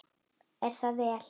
Er það vel.